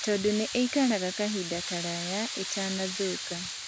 Tondũ nĩ ii karaga kahinda karaya itanathũka